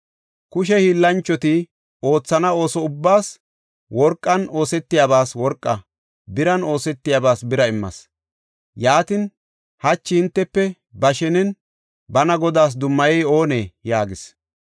Kushe hiillanchoti oothana ooso ubbaas worqan oosetiyabas worqaa, biran oosetiyabas bira immas. Yaatin, hachi hintefe ba shenen bana Godaas dummayey oonee?” yaagis.